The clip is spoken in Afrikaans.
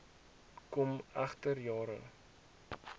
kom egter jare